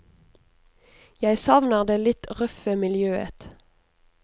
Jeg savner det litt røffe miljøet.